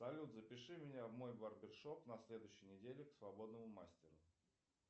салют запиши меня в мой барбершоп на следующей неделе к свободному мастеру